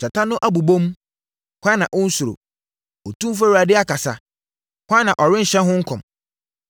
Gyata no abobom, hwan na ɔnnsuro? Otumfoɔ Awurade akasa, hwan na ɔrenhyɛ ho nkɔm?